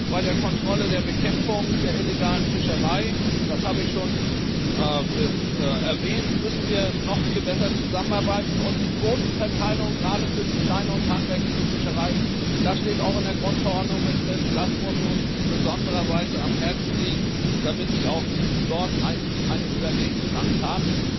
Bei der Kontrolle der Bekämpfung der illegalen Fischerei das habe ich schon erwähnt müssen wir noch viel besser zusammenarbeiten, und die Quotenverteilung gerade für die Klein und handwerkliche Fischerei das steht auch in der Grundverordnung drin muss uns in besonderer Weise am Herzen liegen, damit die auch dort eine Überlebenschance haben.